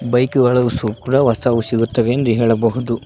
ಬೈಕುಗಳು ಶುಭ್ರ ಹೊಸ್ದಾಗು ಸಿಗುತ್ತವೆ ಎಂದು ಹೇಳಬಹುದು.